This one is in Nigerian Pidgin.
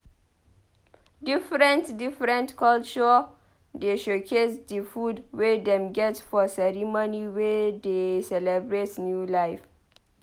Different-different culture dey showcase di food wey dem get for ceremony wey dey celebrate new life.